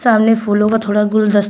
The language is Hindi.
सामने फूलों का थोड़ा गुलदस्ता--